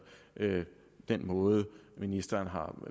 den måde ministeren har